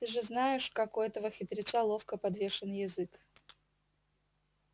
ты же знаешь как у этого хитреца ловко подвешен язык